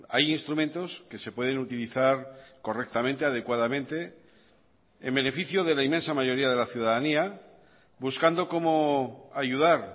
hay instrumentos que se pueden utilizar correctamente adecuadamente en beneficio de la inmensa mayoría de la ciudadanía buscando cómo ayudar